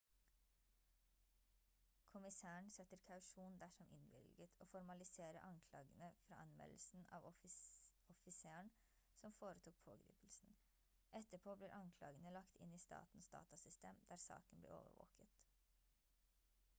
kommissæren setter kausjon dersom innvilget og formaliserer anklagene fra anmeldelsen av offiseren som foretok pågripelsen etterpå blir anklagene lagt inn i statens datasystem der saken blir overvåket